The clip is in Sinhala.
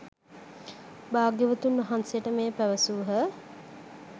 භාග්‍යවතුන් වහන්සේට මෙය පැවසූහ